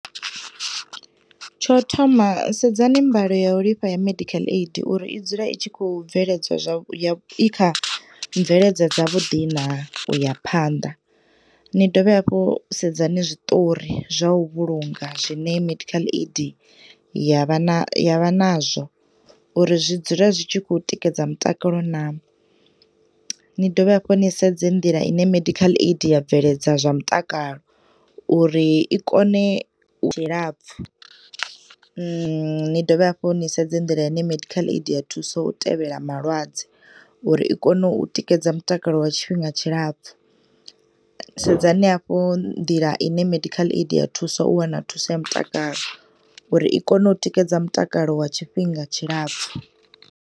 Tsho thoma sedzani mbaloyolifha ya medical aid uri i dzula itshi khou bveledza i kha mveledza dza vhuḓi na uya phanḓa, ni dovhe hafhu sedzani zwiṱori zwa u vhulunga zwine medical aid ya vha na ya vha nazwo uri zwidzula zwitshikhou tikedza mutakalo na N. idovhe hafhu ni sedze nḓila ine medical aid ya bveledza zwa mutakalo uri i kone tshilapfu ni dovhe hafhu ni sedze nḓila ine medical aid ya thusa u tevhela malwadze uri i kone u tikedza mutakalo wa tshifhinga tshilapfu. Sedzani hafhu nḓila ine medical aid ya thusa u wana thuso ya mutakalo uri i kone u tikedza mutakalo wa tshifhinga tshilapfu.